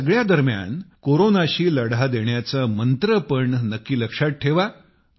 ह्या सगळ्या दरम्यान कोरोनाशी लढा देण्याचा मंत्र पण नक्की लक्षात ठेवा